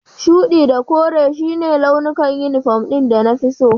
Shuɗi da kore su ne launukan inifom ɗin da na fi so